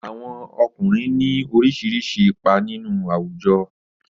Àwọn ọkùnrin ní oríṣiríṣi ipa nínú àwùjọ.